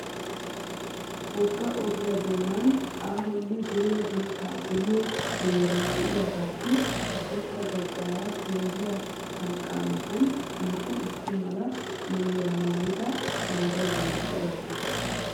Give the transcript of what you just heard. Wogga ogiyaa doonan aahonne dooya dirssaa geliyo penggee de"iyaagaassi haddirssa baggaara penggiya sanqaa matan naa"u issi mala maayuwa maayida naagiyaageeti de'oosona.